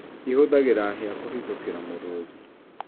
Ihũhagĩra hĩa kũhithũkĩra mũrũthi